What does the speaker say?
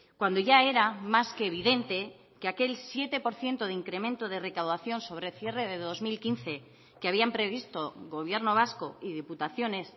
cuando ya era más que evidente que aquel siete por ciento de incremento de recaudación sobre cierre de dos mil quince que habían previsto gobierno vasco y diputaciones